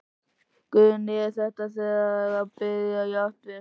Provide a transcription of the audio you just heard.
Guðný: Er það þegar byrjað jafnvel?